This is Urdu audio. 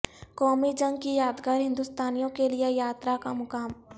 قومی جنگ کی یادگار ہندوستانیوں کیلئے یاترا کا مقام